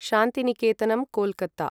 शान्तिनिकेतनम्, Kolkata